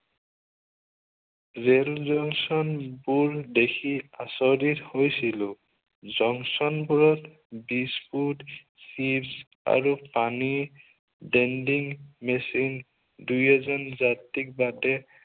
Rail জংচনবোৰ দেখি আচঁৰিত হৈছিলো। জংচনবোৰত বিস্কুট, চিপ্চ আৰু পানীৰ vending machine দুই এজন যাত্ৰীৰ বাদে